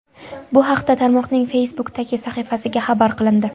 Bu haqda tarmoqning Facebook’dagi sahifasida xabar qilindi .